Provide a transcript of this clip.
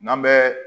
N'an bɛ